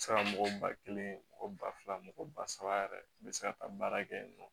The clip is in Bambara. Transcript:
Se ka mɔgɔ ba kelen mɔgɔ ba fila mɔgɔ ba saba yɛrɛ be se ka taa baara kɛ yen nɔ